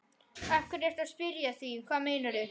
Af hverju ertu að spyrja að því. hvað meinarðu?